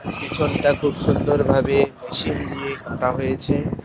পিছনটা খুব সুন্দর ভাবে মেশিন দিয়ে কাটা হয়েছে।